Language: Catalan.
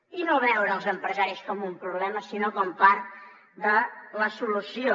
i no veure els empresaris com un problema sinó com a part de la solució